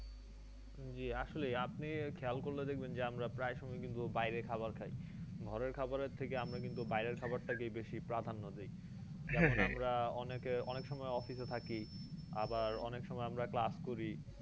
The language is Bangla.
জ্বি আসলেই আপনি খেয়াল করলে দেখবেন যে আমরা প্রায় সময় ই কিন্তু বাইরে খাবার খাই ঘরের খাবারের থেকে আমরা কিন্তু বাইরের খাবার টাকেই বেশি প্রাধান্ন দিই যেমন আমরা অনেকে অনেকসময় office এ থাকি আবার অনেকসময় আমরা class করি